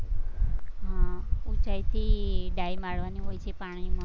હા ઉંચાઈથી dive મારવાની હોય છે પાણીમાં